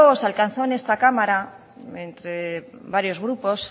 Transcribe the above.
se alcanzó en esta cámara entra varios grupos